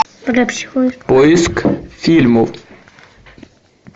поиск фильмов